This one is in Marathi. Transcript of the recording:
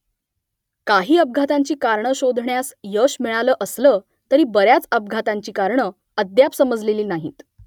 काही अपघातांची कारणं शोधण्यास यश मिळालं असलं , तरी बऱ्याच अपघातांची कारणं अद्याप समजलेली नाहीत